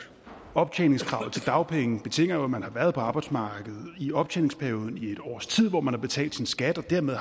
optjeningskravet til dagpenge betinger jo at man har været på arbejdsmarkedet i optjeningsperioden i et års tid hvor man har betalt sin skat og dermed